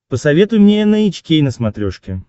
посоветуй мне эн эйч кей на смотрешке